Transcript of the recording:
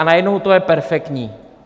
A najednou to je perfektní.